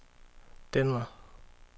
Denver